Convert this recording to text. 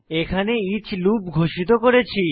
এখানে each loop ঘোষিত করেছি